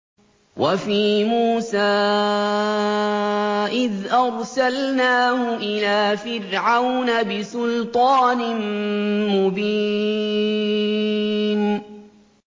وَفِي مُوسَىٰ إِذْ أَرْسَلْنَاهُ إِلَىٰ فِرْعَوْنَ بِسُلْطَانٍ مُّبِينٍ